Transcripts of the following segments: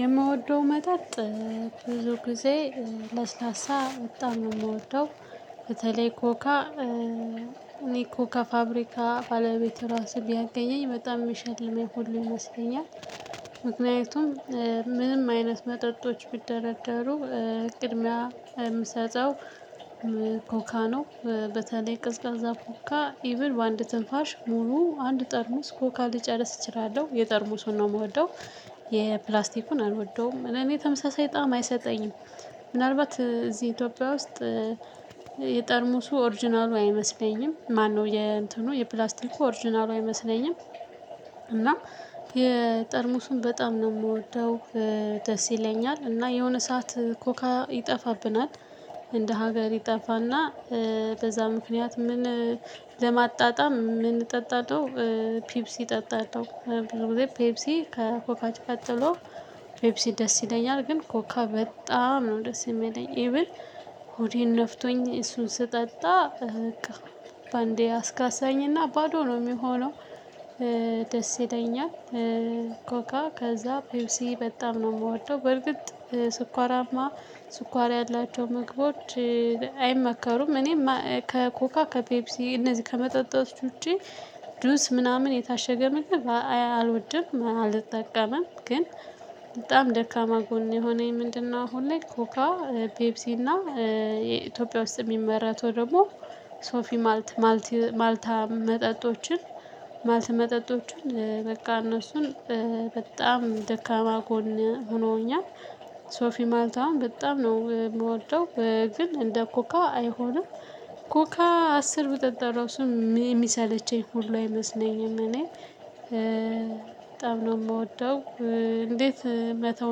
የምወደው መጠጥ ብዙ ጊዜ ለስላሳ በጣም ነው የምወደው። በተለይ ኮካ እኔ ኮካ ፋብሪካ ባለቤቴ ራሱ ቢያገኘኝ በጣም ሚሸልመኝ ሁሉ ይመስለኛል። ምክንያቱም ምንም አይነት መጠጦች ቢደረደሩ ቅድሚያ የምሰጠው ኮካ ነው። በተለይ ቅዝቃዛ ኮካ ኢቭን በአንድ ትንፋሽ ሙሉ አንድ ጠርሙስ ኮካ ልጨርስ እችላለሁ የጠርሙሱን ነው የምወደው። የፕላስቲኩን አልወደውም እኔ ተመሳሳይ ጣዕም አይሰጠኝም። ምናልባት እዚህ ኢትዮጵያ ውስጥ የጠርሙሱ ኦርጅናሉ አይመስለኝም ማነው የእንትኑ የፕላስቲክ ኦርጅናሉ አይመስለኝም። እና የጠርሙሱን በጣም ነው የምወርደው ደስ ይለኛል። እና የሆነ ሰዓት ኮካ ይጠፋብናል። እንደ ሀገር ይጠፋና በዛ ምክንያት ምን ለማጣጣም የምንጠጣው። ፒፕሲ ጠጣለው በጊዜ ፔፕሲ ከኮካች ቀጥሎ ፔፕሲ ደስ ይለኛል። ግን ኮካ በጣም ነው ደስ የሚለኝ ኢቭን። ሆዴን ነፍቶኝ እሱን ስጠጣ በቃ በአንዴ አስካሳኝና ባዶ ነው የሚሆነው። ደስ ይለኛል። ኮካ ከዛ ፔፕሲ በጣም ነው የምወደው። በርግጥ ስኳራማ ስኳር ያላቸው መግባቶች አይመከሩም። እኔ ከኮካ ከፔፕሲ እነዚህ ከመጠጣት ውጪ ዱስ ምናምን የታሸገ ምግብ አልወድም አልጠቀምም። ግን በጣም ደካማ ጎኔ የሆነኝ ምንድነው? አሁን ላይ ኮካ ፔፕሲ እና የኢትዮጵያ ውስጥ የሚመራት ደግሞ ሶፊ ማልት ማልት ማልታ መጠጦችን ማልት መጠጦችን በቃ እነሱን በጣም ደካማ ጎኔ ሆኖኛል። ሶፊ ማልታ አሁን በጣም ነው የምወደው። ግን እንደ ኮካ አይሆንም። ኮካ አስር ብጠጣ እሱን የሚሰለቸኝ ሁሉ አይመስለኝም እኔ በጣም ነው የምወደው። እንዴት መተው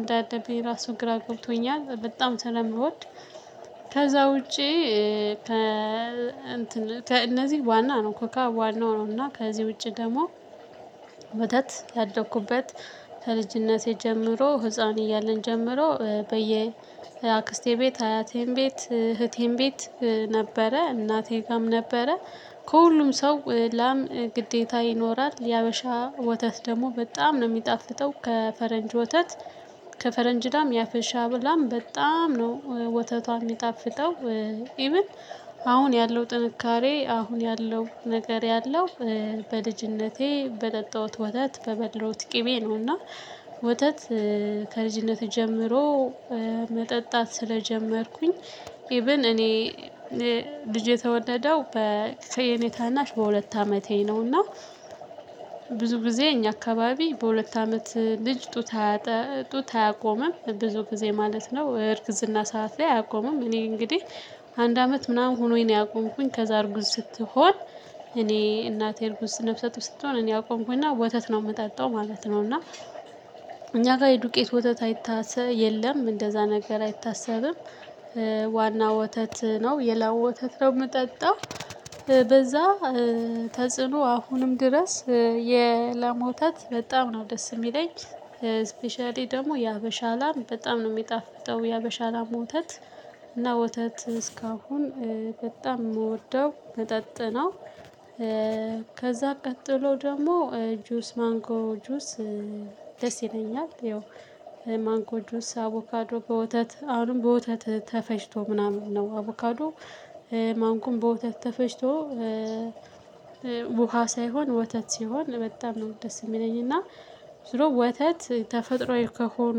እንዳደረበኝ ራሱን ግራ ጎብቶኛል በጣም ስለምወድ። ከዛ ውጪ ከ ከእንትን ከእነዚህ ዋና ነው ኮካ ዋናው ነው። እና ከዚህ ውጪ ደግሞ ወተት ያደኩበት ከልጅነቴ ጀምሮ ህፃን እያለን ጀምሮ በየ አክስቴ ቤት አያቴን ቤት እህቴን ቤት ነበረ እናቴ ጋርም ነበረ። ከሁሉም ሰው ላም ግዴታ ይኖራል። የሀበሻ ወተት ደግሞ በጣም ነው የሚጣፍጠው ከፈረንጅ ወተት። ከፈረንጅ ላም ያፈሻ ብላም በጣም ነው ወተቷ የሚጣፍጠው። ኢቭን ያለው ጥንካሬ አሁን ያለው ነገር ያለው በልጅነቴ በጠጣሁት ወተት በበድለውት ቅቤ ነውና። ወተት ከልጅነት ጀምሮ መጠጣት ስለጀመርኩኝ ኢቭን እኔ ልጅ የተወለደው በእኔ ታናሽ በሁለት አመቴ ነውና። ብዙ ጊዜ እኛ አካባቢ በሁለት አመት ልጅ ጡት ጡት አያቆምም ብዙ ጊዜ ማለት ነው እርግዝና ሰዓት ላይ አያቆምም። እኔ እንግዲህ አንድ አመት ምናምን ሆኖኝ ነው ያቆምኩኝ። ከዛ እርጉዝ ስትሆን እኔ እናቴ እርጉዝ ስንፍሰት ስትሆን እኔ አቆምኩኝ እና ወተት ነው የምጠጣው ማለት ነው። እና እኛ ጋር የዱቄት ወተት አይታሰብም የለም እንደዛ ነገር አይታሰብም። ዋና ወተት ነው የላው ወተት ነው የምጠጣው። በዛ ተጽዕኖ አሁንም ድረስ የላም ወተት በጣም ነው ደስ የሚለኝ። ስፔሻሊ ደግሞ የሀበሻ አላም በጣም ነው የሚጣፍጠው የሀበሻ አላም ወተት እና ወተት እስካሁን በጣም የምወደው መጠጥ ነው። ከዛ ቀጥሎ ደግሞ ጁስ ማንጎ ጁስ ደስ ይለኛል። ይኸው ማንኮ ጁስ አቮካዶ በወተት አሁንም በወተት ተፈጭቶ ምናምን ነው አቮካዶ ማንኩም በወተት ተፈጭቶ። ውሃ ሳይሆን ወተት ሲሆን በጣም ነው ደስ የሚለኝ። እና ስለው ወተት ተፈጥሮዬ ከሆኑ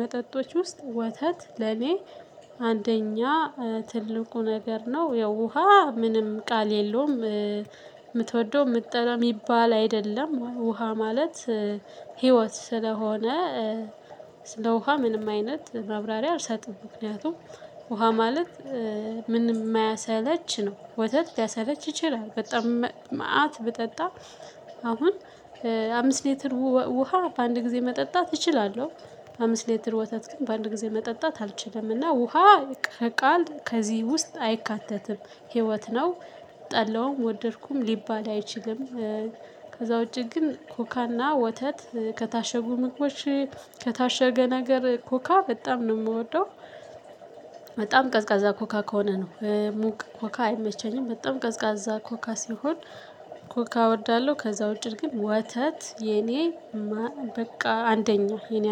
መጠጦች ውስጥ ወተት ለኔ አንደኛ ትልቁ ነገር ነው። ያው ውሃ ምንም ቃል የለውም። የምትወደው የምትጠራ የሚባል አይደለም ውሃ ማለት ህይወት ስለሆነ። ስለ ውሃ ምንም አይነት ማብራሪያ አልሰጥም። ምክንያቱም ውሃ ማለት ምን የማያሰለች ነው። ወተት ሊያሰለች ይችላል በጣም መአት ብጠጣ አሁን አምስት ሊትር ውሃ በአንድ ጊዜ መጠጣት እችላለሁ። አምስት ሊትር ወተት ግን በአንድ ጊዜ መጠጣት አልችልምና ውሃ ከቃል ከዚህ ውስጥ አይካተትም። ህይወት ነው። ጠላውም ወደድኩም ሊባል አይችልም። ከዛ ውጪ ግን ኮካና ወተት ከታሸጉ ምግቦች ከታሸገ ነገር ኮካ በጣም ነው የምወደው። በጣም ቀዝቃዛ ኮካ ከሆነ ነው። ሙቅ ኮካ አይመቸኝም። በጣም ቀዝቃዛ ኮካ ሲሆን። ኮካ እወርዳለሁ ከዛ ውጪ ግን ወተት የኔ በቃ አንደኛ